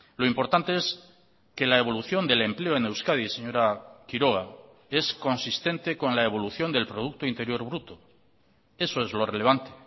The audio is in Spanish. lo importante es que la evolución del empleo en euskadi señora quiroga es consistente con la evolución del producto interior bruto eso es lo relevante